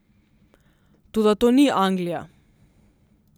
Toda to ni Anglija.